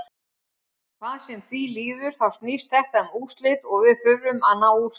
Hvað sem því líður þá snýst þetta um úrslit og við þurfum að ná úrslitum.